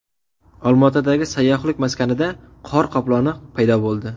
Olmaotadagi sayyohlik maskanida qor qoploni paydo bo‘ldi.